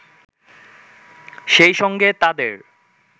সেই সঙ্গে তাদের